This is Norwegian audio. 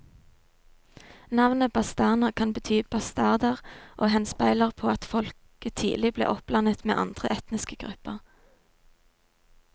Navnet bastarner kan bety bastarder og henspeiler på at folket tidlig ble oppblandet med andre etniske grupper.